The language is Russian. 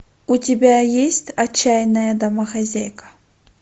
у тебя есть отчаянная домохозяйка